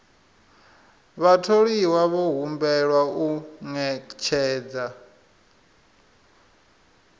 vhatholiwa vho humbelwa u ṅetshedza